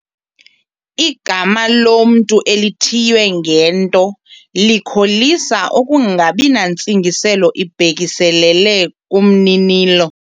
Igama lomntu elithiywe ngento likholisa ukungabi nantsingiselo ibhekiselele kumninilo.